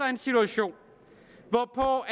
en situation hvor